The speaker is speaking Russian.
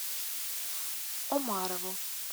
омарову